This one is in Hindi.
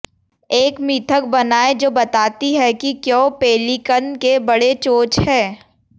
एक मिथक बनाएं जो बताती है कि क्यों पेलिकन के बड़े चोंच हैं